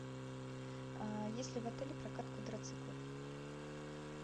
есть ли в отеле прокат квадроциклов